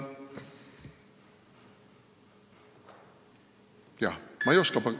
Palun lisaaega!